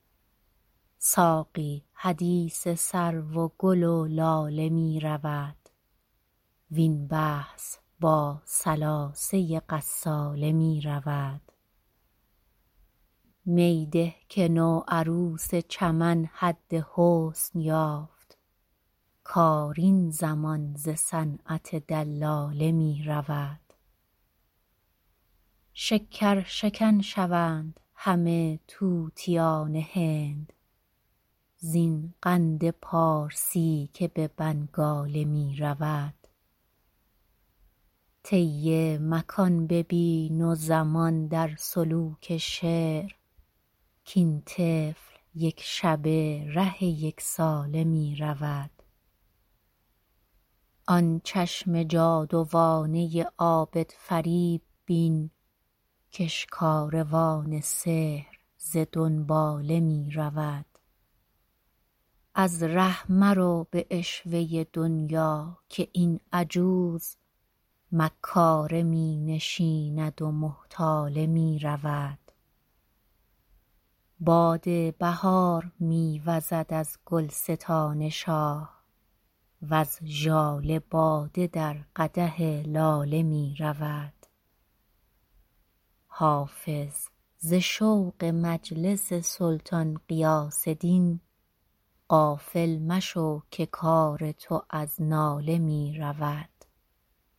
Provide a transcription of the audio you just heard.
ساقی حدیث سرو و گل و لاله می رود وین بحث با ثلاثه غساله می رود می ده که نوعروس چمن حد حسن یافت کار این زمان ز صنعت دلاله می رود شکرشکن شوند همه طوطیان هند زین قند پارسی که به بنگاله می رود طی مکان ببین و زمان در سلوک شعر کاین طفل یک شبه ره یک ساله می رود آن چشم جادوانه عابدفریب بین کش کاروان سحر ز دنباله می رود از ره مرو به عشوه دنیا که این عجوز مکاره می نشیند و محتاله می رود باد بهار می وزد از گلستان شاه وز ژاله باده در قدح لاله می رود حافظ ز شوق مجلس سلطان غیاث دین غافل مشو که کار تو از ناله می رود